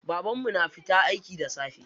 Babanmu na fita aiki da safe.